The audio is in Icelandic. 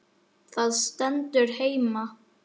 Það stendur heima.